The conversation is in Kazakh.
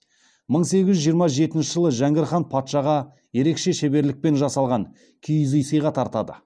мың сегіз жүз жиырма жетінші жылы жәңгір хан патшаға ерекше шеберлікпен жасалған киіз үй сыйға тартады